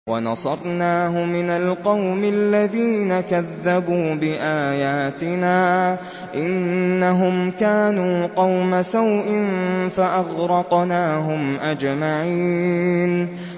وَنَصَرْنَاهُ مِنَ الْقَوْمِ الَّذِينَ كَذَّبُوا بِآيَاتِنَا ۚ إِنَّهُمْ كَانُوا قَوْمَ سَوْءٍ فَأَغْرَقْنَاهُمْ أَجْمَعِينَ